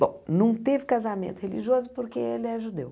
Bom, não teve casamento religioso porque ele é judeu.